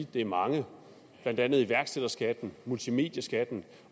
det er mange blandt andet iværksætterskatten og multimedieskatten